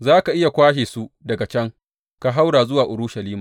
Za ka iya kwashe su daga can ka haura zuwa Urushalima.